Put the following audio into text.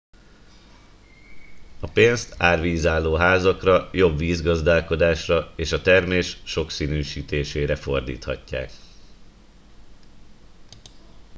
a pénzt árvízálló házakra jobb vízgazdálkodásra és a termés sokszínűsítésére fordíthatják